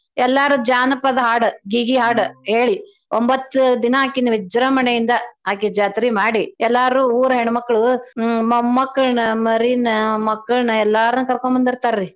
ಎಲ್ಲಾರೂ ಜಾನ್ಪದ್ ಹಾಡು ಗೀಗೀ ಹಾಡ್ ಹೇಳಿ ಒಂಬತ್ತ್ ದಿನಾ ಆಕಿನ್ನ ವಿಜೃಂಭಣೆಯಿಂದ ಆಕಿ ಜಾತ್ರೀ ಮಾಡಿ ಎಲ್ಲರೂ ಊರ್ ಹೆಣ್ಮಕ್ಳು ಹ್ಮ್ ಮಮ್ಮಕ್ಳನ ಮರೀನ ಮಕ್ಕಳ್ನ ಎಲ್ಲಾರ್ನೂ ಕರ್ಕೋಂಬದೀರ್ತಾರೀ.